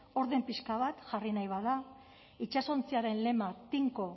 orden pixka bat jarri nahi bada itsasontziaren lema tinko